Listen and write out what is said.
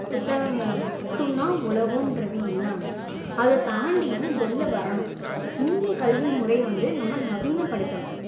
புத்தகங்களை மட்டும் தான் உலகன்றது இல்லாம, அதை தாண்டியும் வெளியில வரணும். இந்திய கல்வி முறையை வந்து நம்ப நவீனப்படுத்தணும்